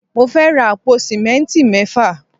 Mo fẹ́ ra àpò símẹ́ntì mẹ́fà